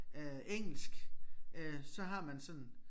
Øh engelsk øh så har man sådan